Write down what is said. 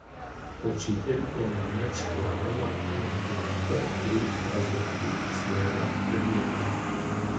Učitelj je namreč glavni motivator pri razlagi svojega predmeta.